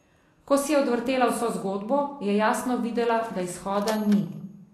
Ko si je odvrtela vso zgodbo, je jasno videla, da izhoda ni.